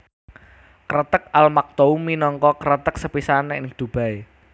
Kreteg Al Maktoum minangka kreteg sepisanan ing Dubai